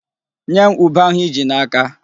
Nye m ube ahụ i ji n'aka.